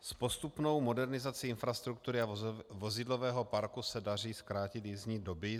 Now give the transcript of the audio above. S postupnou modernizací infrastruktury a vozidlového parku se daří zkrátit jízdní doby.